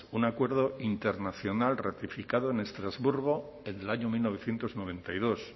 un acuerdo internacional ratificado en estrasburgo en el año mil novecientos noventa y dos